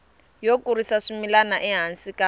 yo kurisa swimila ehansi ka